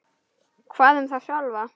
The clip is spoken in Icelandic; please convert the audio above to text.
Hvað um þá sjálfa?